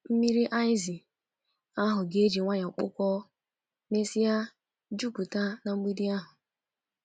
Mmiri aịzị ahụ ga-eji nwayọ kpụkọọ, mesịa jupụta na mgbidi ahụ.